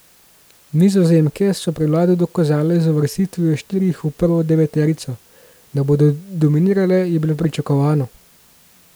Nizozemke so prevlado dokazale z uvrstitvijo štirih v prvo deveterico, da bodo dominirale, je bilo pričakovano.